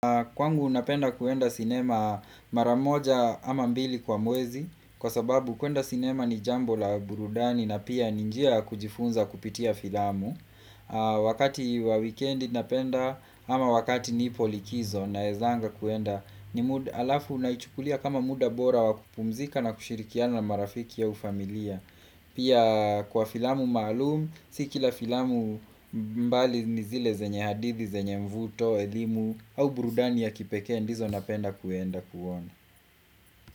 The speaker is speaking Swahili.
Kwangu napenda kwenda sinema maramoja ama mbili kwa mwezi Kwa sababu kwenda sinema ni jambo la burudani na pia ni njia kujifunza kupitia filamu Wakati wa weekend ninapenda ama wakati nipo likizo naezanga kwenda halafu naichukulia kama muda bora wakupumzika na kushirikiana na marafiki au familia Pia kwa filamu maalum, si kila filamu mbali ni zile zenye hadithi, zenye mvuto, elimu au burudani ya kipekee ndizo napenda kuenda kuona.